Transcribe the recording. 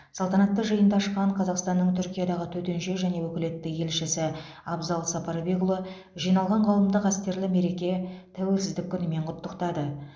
салтанатты жиынды ашқан қазақстанның түркиядағы төтенше және өкілетті елшісі абзал сапарбекұлы жиналған қауымды қастерлі мереке тәуелсіздік күнімен құттықтады